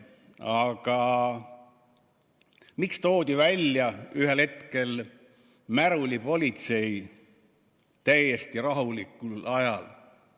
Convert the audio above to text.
Aga miks toodi välja ühel hetkel märulipolitsei täiesti rahulikul ajal?